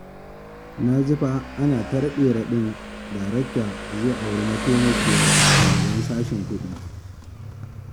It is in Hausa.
Na ji fa ana ta raɗe-raɗin Darakta zai auri mataimakiyar shugaban sashen kuɗi